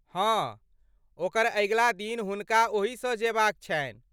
हँ, ओकर अगिला दिन हुनका ओहिसँ जेबाक छनि।